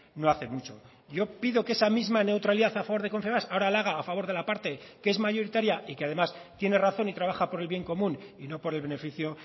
no hace mucho yo pido que esa misma neutralidad a favor de confebask ahora la haga a favor de la parte que es mayoritaria y que además tiene razón y trabaja por el bien común y no por el beneficio